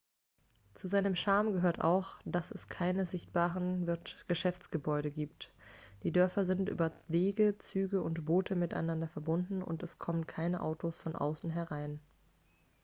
zu seinem charme gehört auch dass es keine sichtbaren geschäftsgebäude gibt die dörfer sind über wege züge und boote miteinander verbunden und es kommen keine autos von außen herein